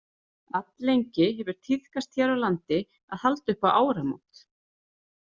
Alllengi hefur tíðkast hér á landi að halda upp á áramót.